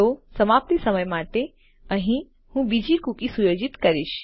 તો સમાપ્તિ સમય માટે અહીં હું બીજી કુકી સુયોજિત કરીશ